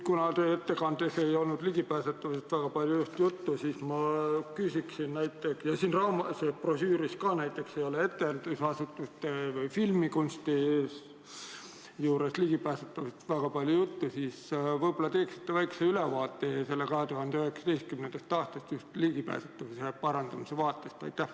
Kuna teie ettekandes ei olnud ligipääsetavusest just palju juttu ja siin brošüüris ka ei ole näiteks etendusasutuste või kinode ligipääsetavusest väga palju juttu, siis võib-olla teeksite väikse ülevaate sellest 2019. aastast just ligipääsetavuse parandamise seisukohast.